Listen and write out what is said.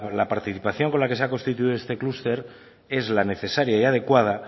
la participación con la que se ha constituido este clúster es la necesaria y la adecuada